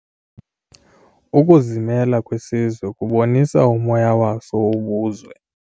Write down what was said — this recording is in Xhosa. Ukuzimela kwesizwe kubonisa umoya waso wobuzwe.